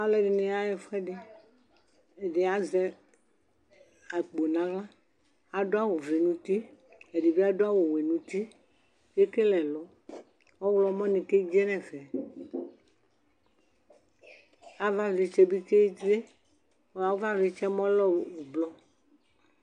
Aluɛdini yaɣa ɛfuɛdi ɛdi azɛ akpo naɣla adu awu vɛ nu uti ɛdibi adu awu wɛ nu utie ekele ɛlɔ ɔɣlomɔ ni kedze nu ɛfɛ avavlitsɛ bi kedze avavlitsɛ lɛ ublu